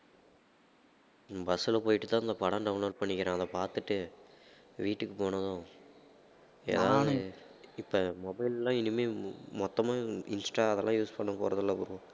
ஹம் bus ல போயிட்டு தான் இந்த படம் download பண்ணிக்கிறேன் அதைப் பார்த்துட்டு வீட்டுக்கு போனதும் இப்ப mobile ல்லாம் இனிமே மொ~ மொத்தமா இன்ஸ்டா அதெல்லாம் use பண்ண போறதில்ல bro